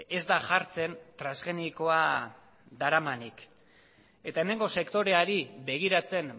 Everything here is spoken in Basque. ez da jartzen transgenikoa daramanik eta hemengo sektoreari begiratzen